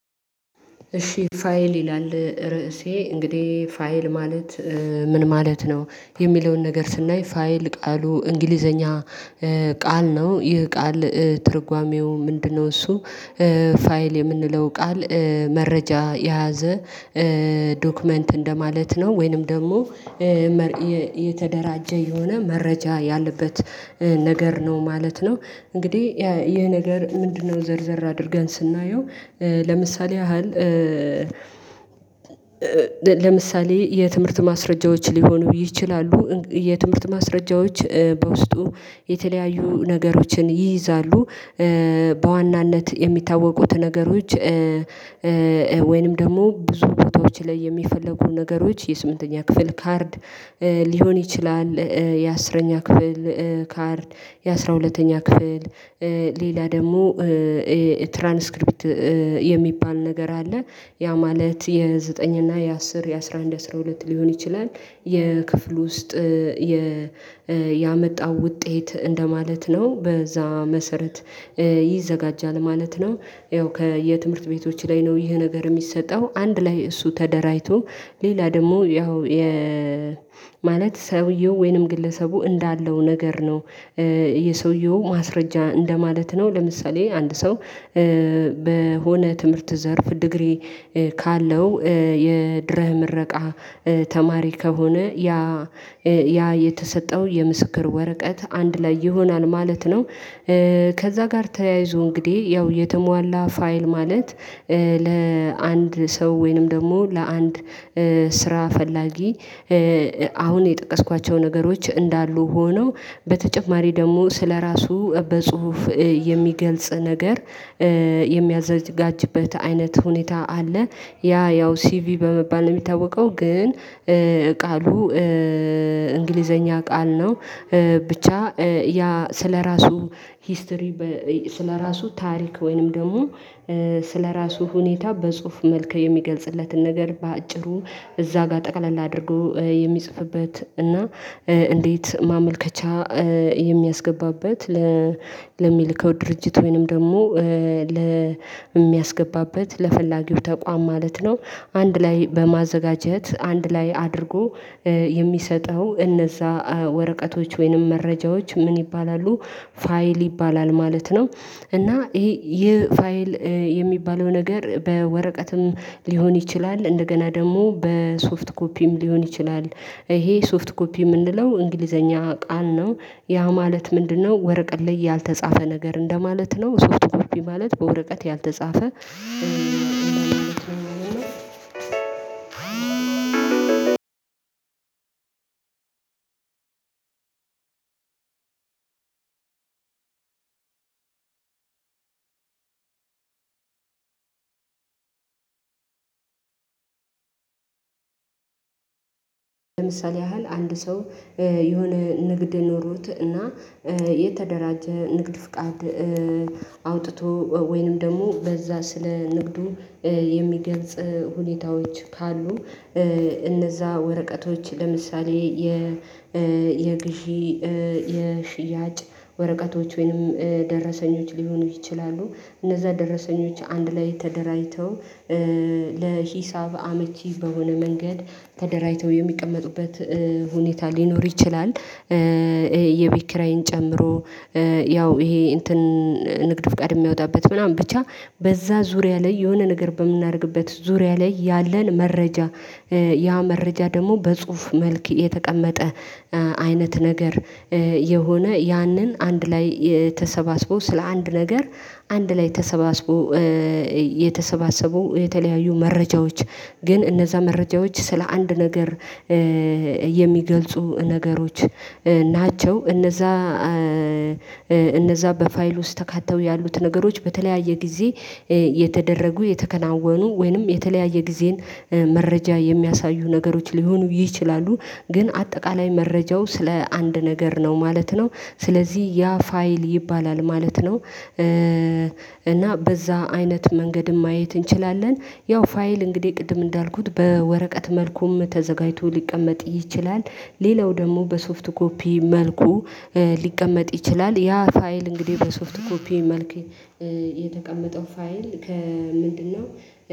እሺ ፋይል ይላል ርዕሴ እንግዲህ ፋይል ማለት ምን ማለት ነው የሚለውን ነገር ስናይ ፋይል ቃሉ እንግሊዘኛ እ ቃል ነው ይህ ቃል ትርጓሜው ምንድነው? እሱ እ ፋይል የምንለው ቃል መረጃ የያዘ እ ዶክመንት እንደማለት ነው ወይንም ደግሞ የተደራጀ የሆነ መረጃ ያለበት እ ነገር ነው ማለት ነው። እንግዲህ ይሄ ነገር ምንድነው ዘርዘር አድርገን ስናየው እ ለምሳሌ ያህል ለምሳሌ የትምህርት ማስረጃዎች ሊሆኑ ይችላሉ የትምህርት ማስረጃዎች በውስጡ የተለያዩ ነገሮችን ይይዛሉ። በዋናነት የሚታወቁት ነገሮች እ እ ወይንም ደግሞ ብዙ ቦታዎች ላይ የሚፈልጉ ነገሮች የስምንተኛ ክፍል ካርድ እ ሊሆን ይችላል። የአስረኛ ክፍል ካርድ የአስራ ሁለተኛ ክፍል እ ሌላ ደግሞ እ ትራንስክሪፕት የሚባል ነገር አለ ያ ማለት የዘጠኝ እና የአስር የአስራ አንድ አስራ ሁለት ሊሆን ይችላል። የክፍሉ ውስጥ እ የ ያመጣው ውጤት እንደማለት ነው በዛ መሰረት ይዘጋጃል ማለት ነው። ያው ከየትምህርት ቤቶች ላይ ነው ይሄ ነገር የሚሰጠው አንድ ላይ እሱ ተደራጅቶ ሌላ ደግሞ ያው የ ማለት ሰውየው ወይንም ግለሰቡ እንዳለው ነገር ነው እ የሰውየው ማስረጃ እንደማለት ነው። ለምሳሌ አንድ ሰው እ በሆነ ትምህርት ዘርፍ ዲግሪ ካለው እ የድህረ ምረቃ እ ተማሪ ከሆነ ያ እ ያ የተሰጠው የምስክር ወረቀት አንድ ላይ ይሆናል ማለት ነው። እ ከዛ ጋር ተያይዞ እንግዲህ ያው የተሟላ ፋይል ማለት እ ለ አንድ ሰው ወይንም ደግሞ ለአንድ ስራ ፈላጊ እ አ አሁን የጠቀስኳቸው ነገሮች እንዳሉ ሆነው በተጨማሪ ደግሞ ስለራሱ በጽሁፍ የሚገልጽ ነገር እ የሚያዘጋጅበት አይነት ሁኔታ አለ ያ ያው ሲቪ በመባል ነው። የሚታወቀው ግን እ ቃሉ እ እንግሊዘኛ ቃል ነው ብቻ እ ያ ስለራሱ ሂስትሪ በ ስለራሱ ታሪክ ወይንም ደግሞ እ ስለራሱ ሁኔታ በጽሁፍ መልከ የሚገልጽለትን ነገር በአጭሩ እዛ ጋር ጠቅለል አድርጎ እ የሚጽፍበት እና እ እንዴት ማመልከቻ እ የሚያስገባበት ለ ለሚልከው ድርጅት ወይንም ደግሞ እ ለ የሚያስገባበት ለፈላጊው ተቋም ማለት ነው። አንድ ላይ በማዘጋጀት አንድ ላይ አድርጎ እ የሚሰጠው እነዛ ወረቀቶች ወይንም መረጃዎች ምን ይባላሉ? ፋይል ይባላል ማለት ነው። እና ይሄ ይህ ፋይል እ የሚባለው ነገር በወረቀትም ሊሆን ይችላል እንደገና ደግሞ በሶፍት ኮፒም ሊሆን ይችላል። ይሄ ሶፍት ኮፒ የምንለው እንግሊዘኛ ቃል ነው ያ ማለት ምንድነው ወረቀት ላይ ያልተጻፈ ነገር እንደማለት ነው። ሶፍት ኮፒ ማለት በወረቀት ያልተጻፈ እ አንድ ለምሳሌ ያህል አንድ ሰው የሆነ ንግድ ኖሮት እና የተደራጀ ንግድ ፍቃድ እ አውጥቶ ወይንም ደግሞ በዛ ስለ ንግዱ እ የሚገልጽ እ ሁኔታዎች ካሉ እ እነዛ ወረቀቶች ለምሳሌ የ እ የግዢ እ የሽያጭ ወረቀቶች ወይንም ደረሰኞች ሊሆኑ ይችላሉ። እነዛ ደረሰኞች አንድ ላይ ተደራጅተው እ ለሂሳብ አመቺ በሆነ መንገድ ተደራጅተው የሚቀመጡበት እ ሁኔታ ሊኖር ይችላል። እ የቤት ኪራይን ጨምሮ ያው ይሄ እንትን ንግድ ፍቃድ የሚያወጣበት ምናምን ብቻ በዛ ዙሪያ ላይ የሆነ ነገር በምናደርግበት ዙሪያ ላይ ያለን መረጃ እ ያ መረጃ ደግሞ በጽሁፍ መልክ የተቀመጠ አይነት ነገር እ የሆነ ያንን አንድ ላይ የ ተሰባስቦ ስለ አንድ ነገር አንድ ላይ ተሰባስቦ እ የ የተሰባሰቡ የተለያዩ መረጃዎች። ግን እነዛ መረጃዎች ስለ አንድ ነገር እ የሚገልጹ ነገሮች እ ናቸው እነዛ እነዛ በፋይሉ ውስጥ ተካተው ያሉት ነገሮች በተለያየ ጊዜ እ የተደረጉ የተከናወኑ ወይንም የተለያየ ጊዜን እ መረጃ የሚያሳዩ ነገሮች ሊሆኑ ይችላሉ። ግን አጠቃላይ መረጃው ስለ አንድ ነገር ነው ማለት ነው ስለዚህ ያ ፋይል ይባላል ማለት ነው። እ እና በዛ አይነት መንገድም ማየት እንችላለን ያው ፋይል እንግዲህ ቅድም እንዳልኩት በወረቀት መልኩም ተዘጋጅቶ ሊቀመጥ ይችላል። ሌላው ደግሞ በሶፍት ኮፒ መልኩ ሊቀመጥ ይችላል ያ ፋይል እንግዲህ በሶፍት ኮፒ መልክ እ የተቀመጠው ፋይል ከምንድነው?